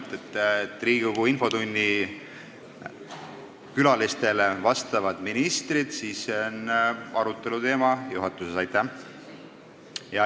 See, et Riigikogu infotunni külalistele vastavad ministrid, on siis aruteluteema juhatusele.